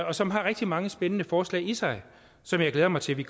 og som har rigtig mange spændende forslag i sig som jeg glæder mig til at vi